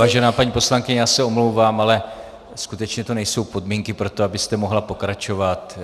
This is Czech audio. Vážená paní poslankyně, já se omlouvám, ale skutečně to nejsou podmínky pro to, abyste mohla pokračovat.